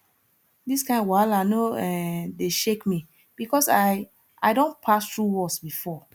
dis kain wahala no um dey shake me because i i don pass through worse before